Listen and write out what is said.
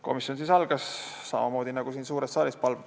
Komisjoni istung algas samamoodi nagu siin suures saalis.